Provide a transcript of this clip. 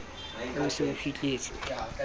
ha o se o fihletse